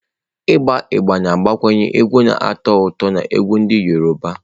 Ịgba Agbe na-agbakwunye egwu na-atọ ụtọ na egwú ndị Yoruba.